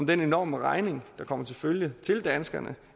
den enorme regning der kommer til følge til danskerne